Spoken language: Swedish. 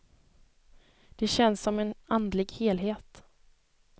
Det känns som en andlig helhet.